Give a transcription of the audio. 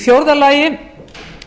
í fjórða lagi er